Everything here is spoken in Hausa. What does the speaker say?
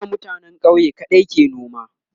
a da mutanen ƙauye kaɗai ke noma